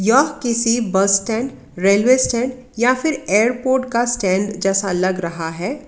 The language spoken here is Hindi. यह किसी बस स्टैंड रेलवे स्टैंड या फिर एयरपोर्ट का स्टैंड जैसा लग रहा है।